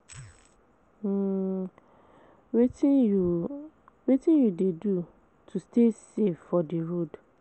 um Wetin you Wetin you dey do to stay safe for di road?